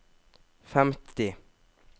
femti